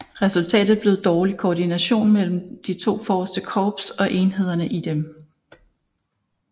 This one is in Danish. Resultatet blev dårlig koordination mellem de to forreste Korps og enhederne i dem